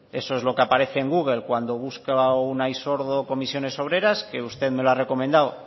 eso es lo que aparece en google cuando busca unai sordo comisiones obreras que usted me lo ha recomendado